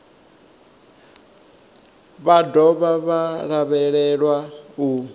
vha dovha vha lavhelelwa u